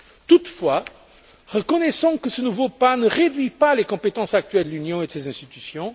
Toutefois, reconnaissons que ce nouveau pas ne réduit pas les compétences actuelles de l'Union et de ses institutions.